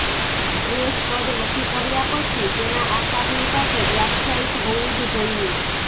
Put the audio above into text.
dress કદ નક્કી કર્યા પછી તેના આકારની સાથે વ્યાખ્યાયિત હોવું જ જોઈએ